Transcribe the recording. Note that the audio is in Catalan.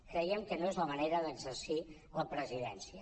creiem que no és la manera d’exercir la presidència